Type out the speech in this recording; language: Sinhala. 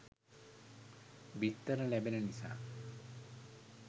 බිත්තර ලැබෙන නිසා